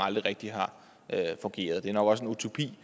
aldrig rigtig har fungeret det er nok også en utopi